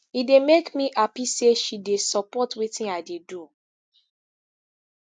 e dey make me happy say she dey support wetin i dey do